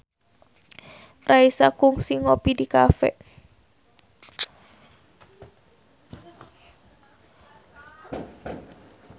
Raisa kungsi ngopi di cafe